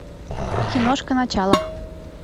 киношка начало